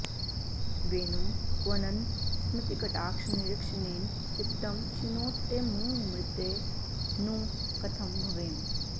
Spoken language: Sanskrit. वेणुं क्वणन् स्मितकटाक्षनिरीक्षणेन चित्तं क्षिणोत्यमुमृते नु कथं भवेम